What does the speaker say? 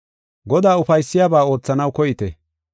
Godaa ufaysiyabaa oothanaw koyite.